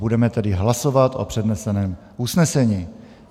Budeme tedy hlasovat o předneseném usnesení.